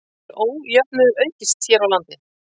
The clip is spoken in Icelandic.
Hefur ójöfnuður aukist hér á landi?